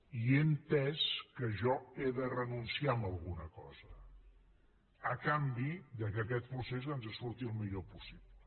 i he entès que jo he de renunciar a alguna cosa a canvi que aquest procés ens surti el millor possible